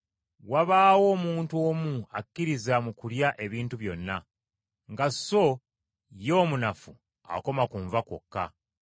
Wabaawo omuntu omu akkiririza mu kulya ebintu byonna, nga so ye omunafu akoma ku nva kwokka.